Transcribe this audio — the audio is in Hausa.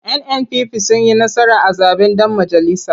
NNPP sun yi nasara a zaɓen ɗan majalisa.